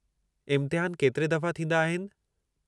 इम्तिहानु केतिरे दफ़ा थींदा आहिनि?